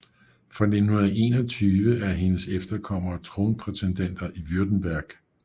Fra 1921 er hendes efterkommere tronprætendenter i Württemberg